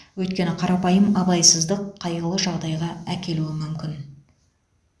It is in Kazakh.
өйткені қарапайым абайсыздық қайғылы жағдайға әкелуі мүмкін